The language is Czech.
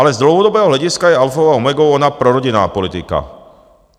Ale z dlouhodobého hlediska je alfou a omegou ona prorodinná politika.